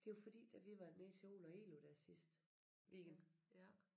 Det jo fordi da vi var nede til Ole og Elu der sidste weekend